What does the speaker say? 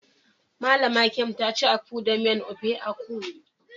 Mallam Nkem yaci akpu da miyan ofe akwu.